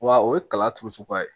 Wa o ye kala turu suguya ye